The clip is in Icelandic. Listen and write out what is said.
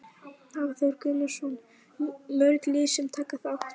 Hafþór Gunnarsson: Mörg lið sem taka þátt?